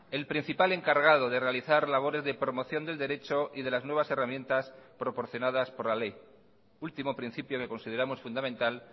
el principal encargado de realizar labores de promoción del derecho y de las nuevas herramientas proporcionadas por la ley último principio que consideramos fundamental